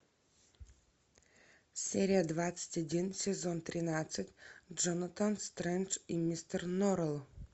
серия двадцать один сезон тринадцать джонатан стрендж и мистер норрелл